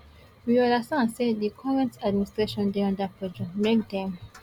we understand say di current administration dey under pressure make dem